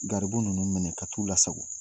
Garibu ninnu minɛ ka t'u la sago.